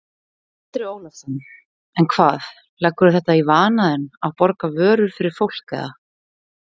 Andri Ólafsson: En hvað, leggurðu þetta í vana þinn að borga vörur fyrir fólk eða?